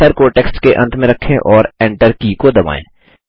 cursor को text के अंत में रखें और Enter की को दबाएँ